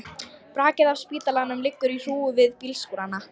Brakið af spítalanum liggur í hrúgu við bílskúrana.